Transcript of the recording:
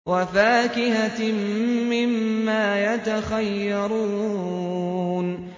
وَفَاكِهَةٍ مِّمَّا يَتَخَيَّرُونَ